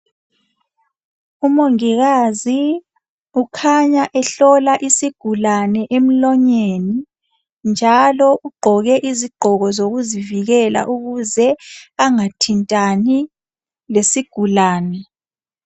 Umongikazi ukhanya ehlola isigulane emlonyeni, njalo ugqoke izigqoko zokuzivikela. Ukuze angathintani lesigulane.